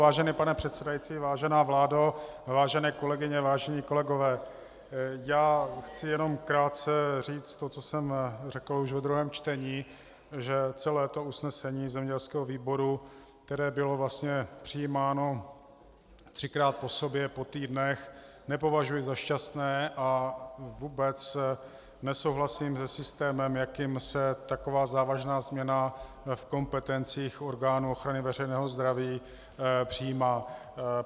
Vážený pane předsedající, vážená vládo, vážené kolegyně, vážení kolegové, já chci jenom krátce říci to, co jsem řekl už ve druhém čtení, že celé to usnesení zemědělského výboru, které bylo vlastně přijímáno třikrát po sobě po týdnech, nepovažuji za šťastné a vůbec nesouhlasím se systémem, jakým se taková závažná změna v kompetencích orgánů ochrany veřejného zdraví přijímá.